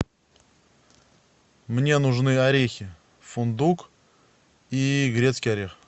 мне нужны орехи фундук и грецкий орех